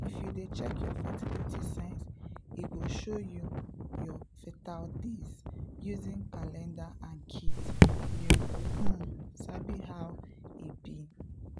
if you dey check your fertility signs e go show you your fertile days using calendar and kits — you um sabi how e be!